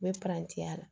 N bɛ parantiya la